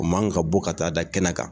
O man ka bɔ ka taa da kɛnɛ kan